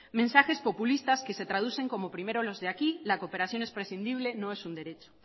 mensajes populistas que se traducen como primero los de aquí la cooperación es prescindible no es un derecho